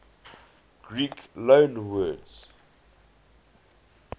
greek loanwords